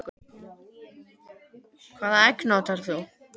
Hvaða egg notar þú?